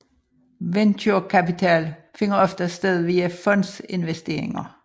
Venturekapital finder oftest sted via fondsinvesteringer